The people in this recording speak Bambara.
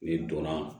N'i donna